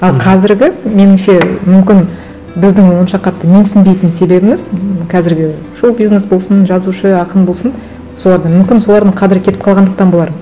ал қазіргі меніңше мүмкін біздің онша қатты менсінбейтін себебіміз қазіргі шоу бизнес болсын жазушы ақын болсын соларды мүмкін солардың қадірі кетіп қалғандықтан болар